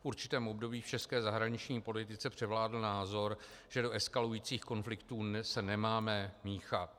V určitém období v české zahraniční politice převládl názor, že do eskalujících konfliktů se nemáme míchat.